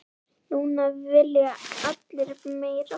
Núna vilja allir meira.